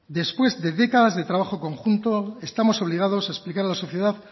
después de décadas de trabajo conjunto estamos obligados a explicar a la sociedad